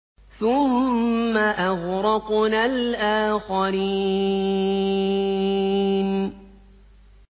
ثُمَّ أَغْرَقْنَا الْآخَرِينَ